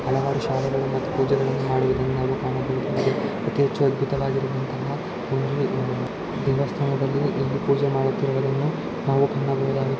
ಹಲವಾರು ಶಾಲೆಗಳನ್ನ ಪೂಜೆಗಳನ್ನು ಮಾಡುವುದನ್ನು ನಾವು ಕಾಣಬಹದು ಮತ್ತೆ ಅತಿ ಹೆಚ್ಚು ಅದ್ಬುತವಾಗಿರುವಂತಹ ಒಂದು ಅಹ್ ದೇವಸ್ಥಾನದಲ್ಲಿ ಇಲ್ಲಿ ಪೂಜೆ ಮಾಡುತ್ತಿರುವುದನ್ನು ನಾವು ಕಾಣಬಹುದಾಗಿದೆ.